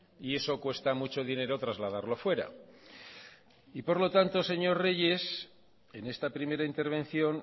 y eso cuesta mucho dinero trasladarlo fuera y por lo tanto señor reyes en esta primera intervención